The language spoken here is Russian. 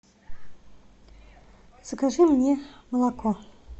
закажи мне молоко